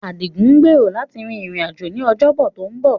Adigun gbèrò láti rin ìrìn-àjò ní Ọjọ́bọ tó ń bọ̀.